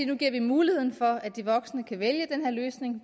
nu giver vi muligheden for at de voksne kan vælge den her løsning